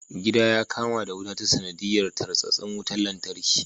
Gida ya kama da wuta ta sanadiyar tarsasin wutan lantarki.